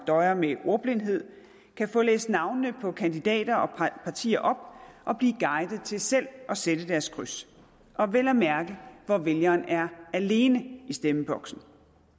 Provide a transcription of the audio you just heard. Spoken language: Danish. døjer med ordblindhed kan få læst navnene på kandidater og partier op og blive guidet til selv at sætte deres kryds vel at mærke hvor vælgeren er alene i stemmeboksen